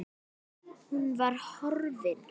Hún var horfin.